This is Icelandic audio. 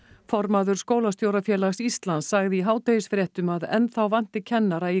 formaður Skólastjórafélags Íslands sagði í hádegisfréttum að enn þá vanti kennara í